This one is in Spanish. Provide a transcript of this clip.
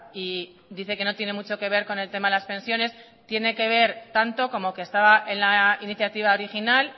y dice que no tiene mucho que ver con el tema de las pensiones tiene que ver tanto como que estaba en la iniciativa original